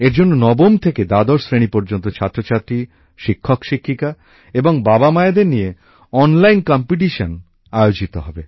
এর জন্য নবম থেকে দ্বাদশ শ্রেণী পর্যন্ত ছাত্রছাত্রী শিক্ষকশিক্ষিকা এবং বাবামায়েদের নিয়ে অনলাইন প্রতিযোগিতা আয়োজিত হবে